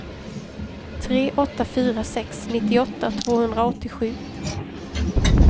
tre åtta fyra sex nittioåtta tvåhundraåttiosju